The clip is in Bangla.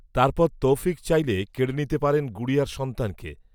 তার পর, তৌফিক চাইলে, কেড়ে নিতে পারেন গুড়িয়ার সন্তানকে